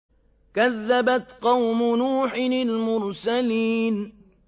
كَذَّبَتْ قَوْمُ نُوحٍ الْمُرْسَلِينَ